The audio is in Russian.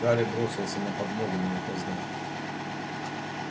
гарри бросился на подмогу но опоздал